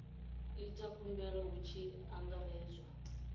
ita khumbelo hu tshi angaredzwa